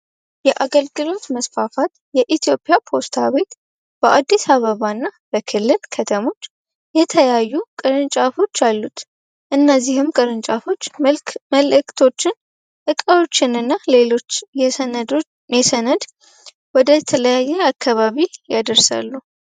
የአገልግሎት መስፋፋት ለኢትዮጵያ ፖስታ ቤት በአዲስ አበባ እና በክልል ከተሞች የተለያዩ ቅርንጫፎች አሉት። እነዚህም ቅርንጫፎች መልዕክቶች ፣እቃዎችን እና ሌሎች የሰነድ ወደተለያዩ አካባቢ ያደርሳሉ።